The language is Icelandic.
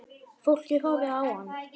Fólkið horfði á hann.